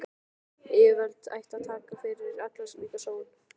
Yfirvöld ættu að taka fyrir alla slíka sóun.